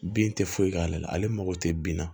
Bin tɛ foyi k'ale la ale mago tɛ bin na